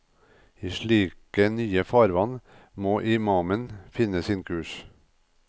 I slike nye farvann må imamen finne sin kurs.